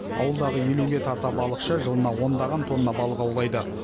ауылдағы елуге тарта балықшы жылына ондаған тонна балық аулайды